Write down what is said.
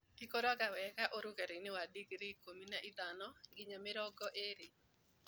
ĩkũraga wega ũrũgarĩinĩ wa digrii ikũmi na ithano nginya mĩrongo ĩrĩ.